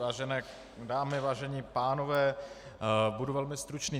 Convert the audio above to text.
Vážené dámy, vážení pánové, budu velmi stručný.